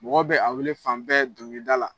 Mɔgɔ bɛ a weele fan bɛɛ doŋilida la.